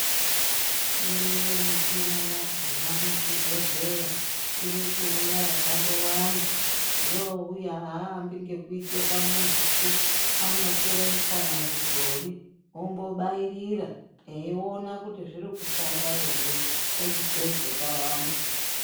Iriyo michina yakona muzvibhedhleya. Iri kuuya yakandowanda. Youya haavambi ngekuisa pamunhupi, anotore kana midhori ombobairira eiona kuti zviri kushanda here, ochizoise pavantu.